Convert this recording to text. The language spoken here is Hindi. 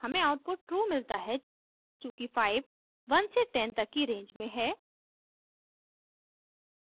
हमें आउटपुट ट्रू मिलता है चूँकि 5 1 से 10 तक की रेंज में है